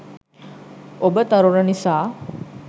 ඔබ තරුණ නිසා